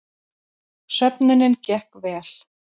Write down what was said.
Söfnunin gekk vel